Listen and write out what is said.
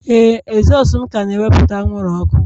Ee, ezosu m ka na-ewepụta anwụrụ ọkụ